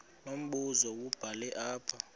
unombuzo wubhale apha